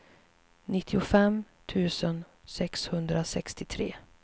nittiofem tusen sexhundrasextiotre